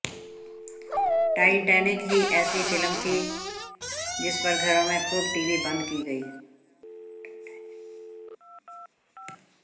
Titanic ही ऐसी film थी जिस पर घरों में खूब टीवी बंद की गयी